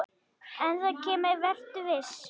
En það kemur, vertu viss.